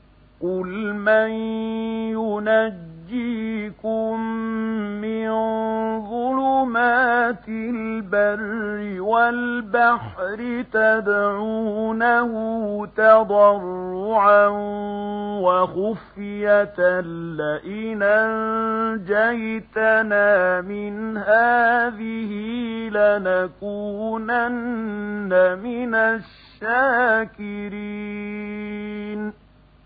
قُلْ مَن يُنَجِّيكُم مِّن ظُلُمَاتِ الْبَرِّ وَالْبَحْرِ تَدْعُونَهُ تَضَرُّعًا وَخُفْيَةً لَّئِنْ أَنجَانَا مِنْ هَٰذِهِ لَنَكُونَنَّ مِنَ الشَّاكِرِينَ